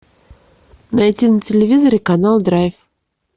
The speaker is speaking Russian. найти на телевизоре канал драйв